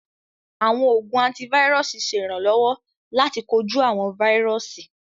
Àwọn oogun antivirusi ṣẹ iránlọwọ̀ lati koju awọn vírùsì